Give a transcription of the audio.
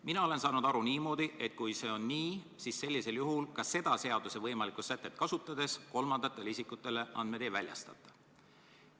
Mina olen saanud aru niimoodi, et kui see on nii, siis sellisel juhul – ka seda seaduse võimalikku sätet kasutades – kolmandatele isikutele andmeid ei väljastata.